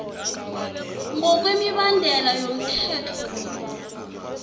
ngokwemibandela yomthetho lo